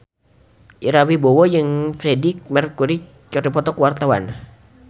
Ira Wibowo jeung Freedie Mercury keur dipoto ku wartawan